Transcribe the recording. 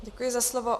Děkuji za slovo.